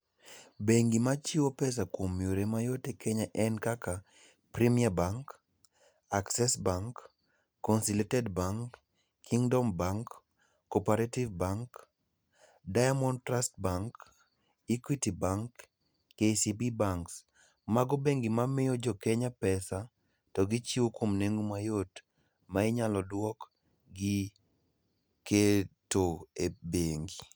Bengi machiwo pesa kuom yore mayot e Kenya en kaka Premier Bank, Access Bank, Consilated Bank, Kingdom Bank, Cooperative Bank, Diamond Trust Bank, Equity Bank, KCB Banks. Mago bengi mamiyo jokenya pesa to gichiwo kuom nengo mayot, ma inyalo dwok gi keto e bengi .